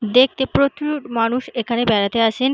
দেখতে প্রচুর মানুষ এখানে বেড়াতে আসেন।